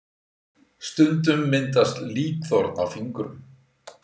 stundum myndast líkþorn á fingrum